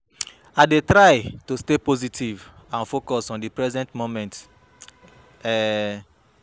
I dey try to stay positive and focus on di present moment. um